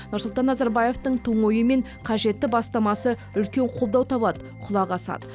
нұрсұлтан назарбаевтың тың ойы мен қажетті бастамасы үлкен қолдау табады құлақ асады